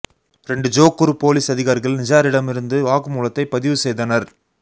இரண்டு Johor police அதிகாரிகள் நிஜாரிடமிருந்து வாக்குமூலத்தைப் பதிவு செய்தனர்